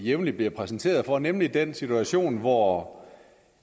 vi jævnligt bliver præsenteret for nemlig den situation hvor